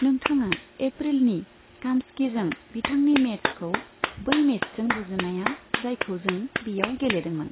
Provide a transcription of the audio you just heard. नोंथाङा एप्रिलनि कामस्कीजों बिथांनि मेचखौ बै मेचजों रुजुजाया जायखौ जों बेयाव गेलेदोंमोन।